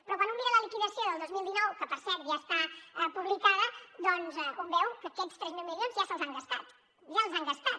però quan un mira la liquidació del dos mil dinou que per cert ja està publicada doncs un veu que aquests tres mil milions ja se’ls han gastat ja els han gastat